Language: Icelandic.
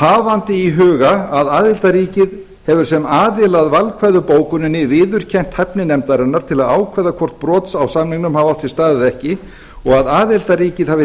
hafandi í huga að aðildarríkið hefur sem aðili að valkvæðu bókuninni viðurkennt hæfni nefndarinnar til að ákveða hvort brot á samningnum hafi átt sér stað eða ekki og að aðildarríkið hafi